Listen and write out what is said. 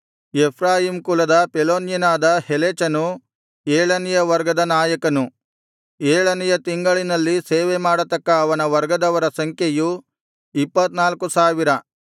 Ephraim ಕುಲದ ಪೆಲೋನ್ಯನಾದ ಹೆಲೆಚನು ಏಳನೆಯ ವರ್ಗದ ನಾಯಕನು ಏಳನೆಯ ತಿಂಗಳಿನಲ್ಲಿ ಸೇವೆಮಾಡತಕ್ಕ ಅವನ ವರ್ಗದವರ ಸಂಖ್ಯೆಯು ಇಪ್ಪತ್ತ್ನಾಲ್ಕು ಸಾವಿರ